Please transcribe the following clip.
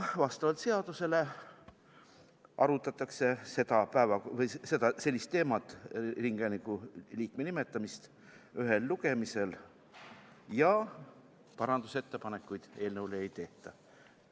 Vastavalt seadusele arutatakse ringhäälingu liikme nimetamist ühel lugemisel ja parandusettepanekuid eelnõu kohta ei tehta.